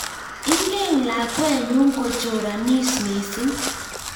Ingen lakwenyu kochoranis mising